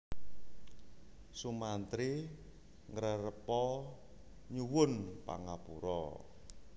Sumantri ngrerepa nyuwun pangapura